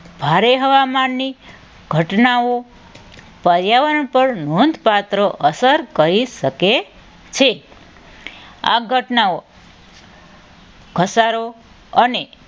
ભારે હવામાનની ઘટનાઓ પર્યાવરણ પર નોંધપાત્ર અસર કરી શકે છે. આ ઘટનાઓ ઘસારો અને